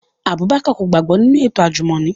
Abubakar ko gbagbọ ninu eto ajumọni